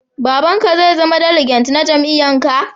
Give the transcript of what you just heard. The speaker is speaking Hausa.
Baba'n ka zai zama diliget na jami'yyan ka?